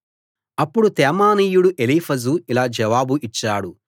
అప్పుడు తేమానీయుడు ఎలీఫజు ఇలా జవాబు ఇచ్చాడు